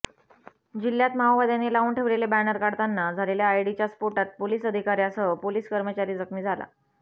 जिल्ह्यात माओवाद्यांनी लावून ठेवलेले बॅनर काढताना झालेल्या आयडीच्या स्फोटात पोलिस अधिकाऱ्यासह पोलिस कर्मचारी जखमी झाला